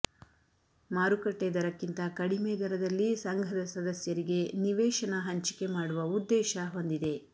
ಮಾರುಕಟ್ಟೆ ದರಕ್ಕಿಂತ ಕಡಿಮೆ ದರದಲ್ಲಿ ಸಂಘದ ಸದಸ್ಯರಿಗೆ ನಿವೇಶನ ಹಂಂಚಿಕೆ ಮಾಡುವ ಉದ್ದೇಶ ಹೊಂದಿದೆ